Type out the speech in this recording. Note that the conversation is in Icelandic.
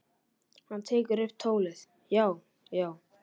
Hann tekur upp tólið: Já, já.